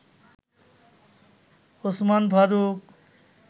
Osman Faruk